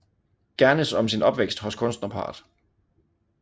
Gernes om sin opvækst hos kunstnerparret